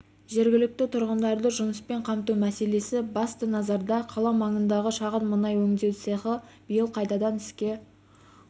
жергілікті тұрғындарды жұмыспен қамту мәселесі басты назарда қала маңындағы шағын мұнай өңдеу цехі биыл қайтадан іске